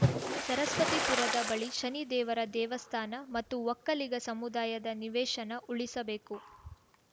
ಸರಸ್ವತಿಪುರದ ಬಳಿ ಶನಿ ದೇವರ ದೇವಸ್ಥಾನ ಮತ್ತು ಒಕ್ಕಲಿಗ ಸಮುದಾಯದ ನಿವೇಶನ ಉಳಿಸಬೇಕು